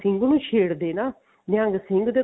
ਸਿੰਘ ਨੂੰ ਛੇੜਦੇ ਨਾ ਨਿਹੰਗ ਸਿੰਘ ਦੇ